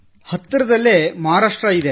ಹತ್ತರದಲ್ಲೇ ಮಹಾರಾಷ್ಟ್ರ ಇದೆ